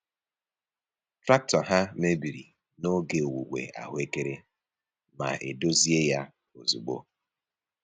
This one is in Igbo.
Traktọ ha mebiri n’oge owuwe ahuekere ma e dozie ya ozugbo.